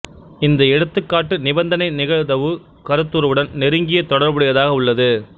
இந்த எடுத்துக்காட்டு நிபந்தனை நிகழ்தவு கருத்துருவுடன் நெருங்கிய தொடர்புடையதாக உள்ளது